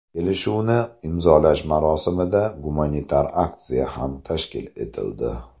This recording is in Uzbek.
Kelishuvni imzolash marosimida gumanitar aksiya ham tashkil etildi.